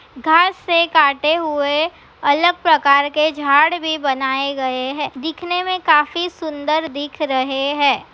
घास से काटे हुए अलग प्रकार के झाड भी बनाए गए है दिखने मे काफी सुंदर दिख रहे है।